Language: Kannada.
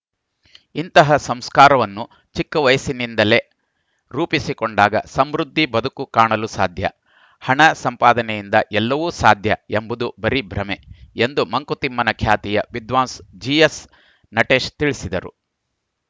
ಇಂತಹ ಸಂಸ್ಕಾರವನ್ನು ಚಿಕ್ಕ ವಯಸ್ಸಿನಿಂದಲೇ ರೂಪಿಸಿಕೊಂಡಾಗ ಸಮೃದ್ಧಿ ಬದುಕು ಕಾಣಲು ಸಾಧ್ಯ ಹಣ ಸಂಪಾದನೆಯಿಂದ ಎಲ್ಲವೂ ಸಾಧ್ಯ ಎಂಬುದು ಬರೀ ಭ್ರಮೆ ಎಂದು ಮಂಕುತಿಮ್ಮನ ಖ್ಯಾತಿಯ ವಿದ್ವಾಂಸ್ ಜಿಎಸ್‌ನಟೇಶ್‌ ತಿಳಿಸಿದರು